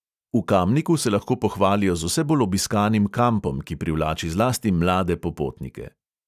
V kamniku se lahko pohvalijo z vse bolj obiskanim kampom, ki privlači zlasti mlade popotnike.